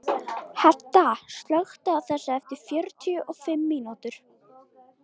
Hedda, slökktu á þessu eftir fjörutíu og fimm mínútur.